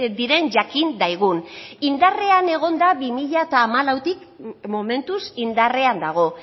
diren jakin daigun indarrean egon da bi mila hamalautik momentuz indarrean dago